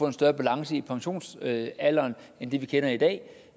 en større balance i pensionsalderen end den vi har i dag